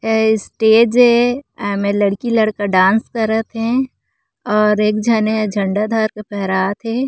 ये स्टेज ए अउ एमे लड़की लड़का डांस करत हे और एक झन हे झंडा धर के फहरात हे।